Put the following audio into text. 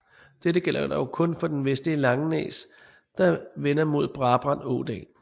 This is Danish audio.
Dette gælder dog kun for det vestlige Langenæs der vender mod Brabrand Ådal